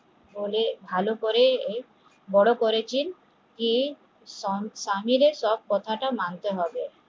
হলে ভালো করে বড় করেছেন যে স্বামীর সব কথা মানতে হবে